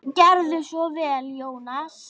Gerðu svo vel, Jónas!